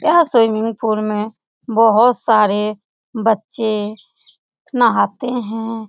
यह swimming pool में बहुत सारे बच्चे नहाते हैं ।